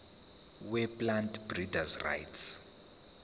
weplant breeders rights